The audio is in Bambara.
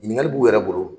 Ɲininkali b'u yɛrɛ bolo